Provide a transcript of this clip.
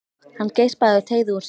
Hann geispaði og teygði úr sér.